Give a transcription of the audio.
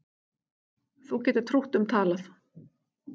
Þú getur trútt um talað